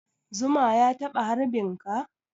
Zuma ya taɓa harbin ka?